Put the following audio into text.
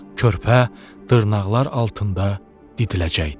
Körpə dırnaqlar altında didiləcəkdi.